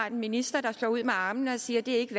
en minister der slår ud med armene og siger at det ikke